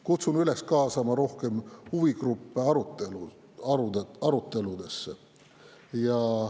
Kutsun üles kaasama rohkem huvigruppe aruteludesse.